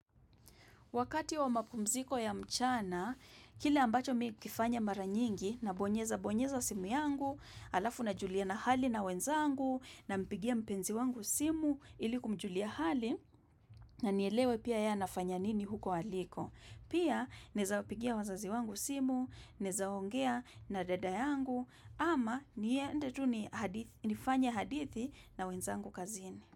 Wakati wa mapumziko ya mchana, kile ambacho mi hukifanya mara nyingi na bonyeza bonyeza simu yangu, alafu na julia na hali na wenzangu, na mpigia mpenzi wangu simu ilikumjulia hali, na nielewe pia yeye anafanya nini huko waliko. Pia naeza wapigia wazazi wangu simu, naeza ongea na dada yangu, ama niende tu nifanye hadithi na wenzangu kazini.